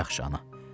Yaxşı, ana.